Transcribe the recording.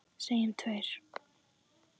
Segjum tveir.